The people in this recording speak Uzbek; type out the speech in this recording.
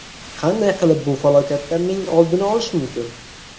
Qanday qilib bu falokatlarning oldini olish mumkin?